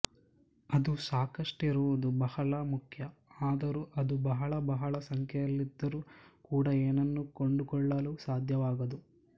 ಅದು ಸಾಕಷ್ಟಿರುವುದು ಬಹಳ ಮುಖ್ಯ ಆದರೂ ಅದು ಬಹಳ ಬಹಳ ಸಂಖ್ಯೆಯಲ್ಲಿದ್ದರೂ ಕೂಡ ಏನನ್ನೂ ಕೊಂಡುಕೊಳ್ಳಲು ಸಾಧ್ಯವಾಗದು